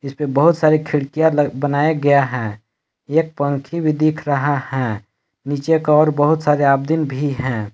इस पे बहुत सारी खिड़कियां बनाया गया है एक पंखी भी दिख रहा है नीचे की ओर बहुत सारे आब्दीन भी हैं।